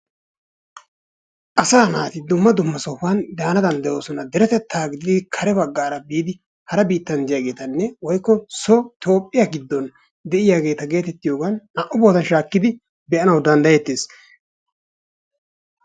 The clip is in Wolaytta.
Asaa naati dumma dumma sohuwaan daanawu danddayoosona. derettettan giidin kare baggaara giidin hara biittan de'iyaagetanne woykko soo toophphiyaa giiddonde'iyaageta getettiyoogan naa"u boottan shaakkidi bee"anawu danddayettees.